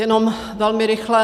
Jenom velmi rychle.